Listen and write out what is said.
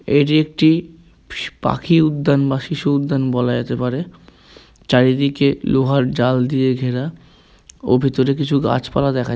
এটি একটি পাখি উদ্যান বা শিশু উদ্যান বলা যেতে পারে চারিদিকে লোহার জাল দিয়ে ঘেরা ও ভিতরে কিছু গাছপালা দেখায়--